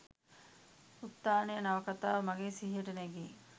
උත්ථානය නවකථාව මගේ සිහියට නැඟේ.